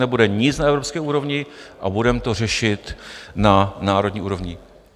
Nebude nic na evropské úrovni a budeme to řešit na národní úrovni.